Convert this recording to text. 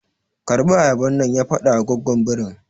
Karɓi ayaban nan! ya faɗawa goggon birin.